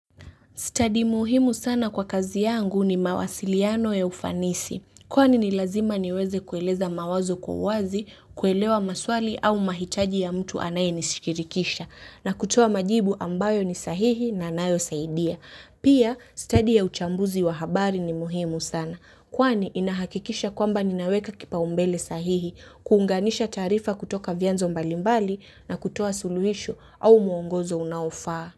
Stadi muhimu sana kwa kazi yangu ni mawasiliano ya ufanisi, kwani ni lazima niweze kueleza mawazo kwa uwazi, kuelewa maswali au mahitaji ya mtu anayenishikirikisha, na kutoa majibu ambayo ni sahihi na yanayosaidia. Pia, stadi ya uchambuzi wa habari ni muhimu sana, kwani inahakikisha kwamba ninaweka kipaumbele sahihi, kuunganisha taarifa kutoka vianzo mbalimbali na kutoa suluhisho au mwongozo unaofaa.